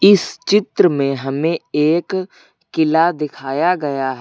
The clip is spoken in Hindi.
इस चित्र में हमें एक किला दिखाया गया है।